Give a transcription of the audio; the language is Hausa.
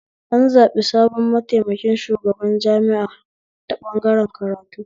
An zaɓi sabon mataimakin shugaban jami'a ta ɓangaren karatu